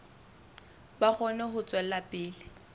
ba kgone ho tswela pele